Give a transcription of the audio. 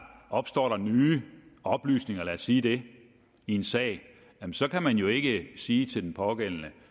opstår der nye oplysninger lad os sige det i en sag så kan man jo ikke sige til den pågældende